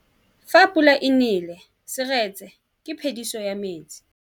Fa pula e nelê serêtsê ke phêdisô ya metsi.